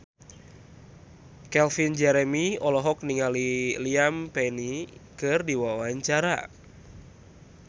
Calvin Jeremy olohok ningali Liam Payne keur diwawancara